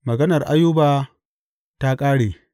Maganar Ayuba ta ƙare.